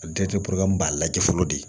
A b'a lajɛ fɔlɔ de